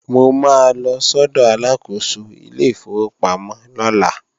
Mo máa lọ sọ́dọ̀ Aláàkóso ilé ìfowópamọ́ lọ́la